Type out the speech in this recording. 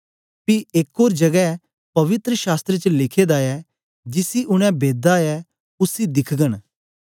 पी एक ओर जगै पवित्र शास्त्र च लिखे दा ऐ जिसी उनै बेधा ऐ उसी दिखगन